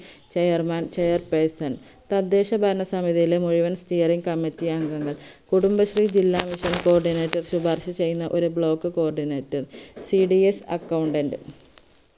chairman chairperson തദ്ദേശഭരണ സമിതിയിലെമുഴുവൻ committee അംഗങ്ങൾ കുടുബശ്രീ ജില്ലാ mission coordinator ശിപാർശ ചെയ്യുന്ന ഒരു block cordinatorcdsaccountant